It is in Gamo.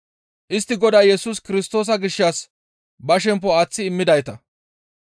Istti Godaa Yesus Kirstoosa gishshas ba shemppo aaththi immidayta.